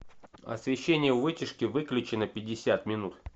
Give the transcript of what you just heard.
освещение у вытяжки выключи на пятьдесят минут